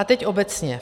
A teď obecně.